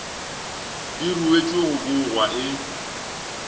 di ruetšwe go bogwa e